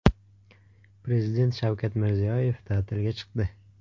Prezident Shavkat Mirziyoyev ta’tilga chiqdi.